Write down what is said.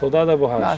Soldado de borracha.